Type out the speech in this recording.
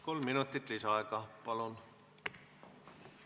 Kolm minutit lisaaega, palun!